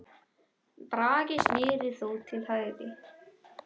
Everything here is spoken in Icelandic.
Bragi snérist þó til hægri.